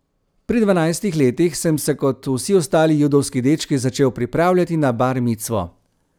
Pri dvanajstih letih sem se kot vsi ostali judovski dečki začel pripravljati na bar micvo.